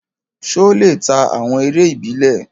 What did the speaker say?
Ṣé ó lè ta awọn eré ìbílẹ̀?